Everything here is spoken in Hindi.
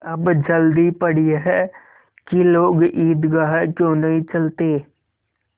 अब जल्दी पड़ी है कि लोग ईदगाह क्यों नहीं चलते